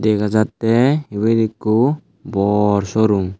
dega jatteh ebet ekku bhor showroom.